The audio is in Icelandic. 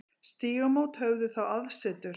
Stígamót höfðu þá aðsetur.